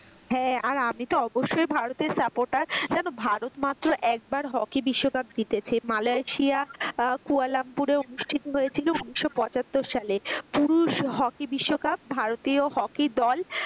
হ্যাঁ আর আমিতো অবশ্যই ভারতের supporter জানো ভারত মাত্র একবার হকি বিশ্বকাপ জিতেছে মালেশিয়া কুয়ালা লাম্পুরে অনুষ্ঠিত হয়েছিল উনিশ পঁচাত্তর সালে পুরুষ হকি বিশ্বকাপ ভারতীয় হকি দল।